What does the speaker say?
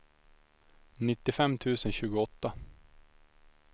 nittiofem tusen tjugoåtta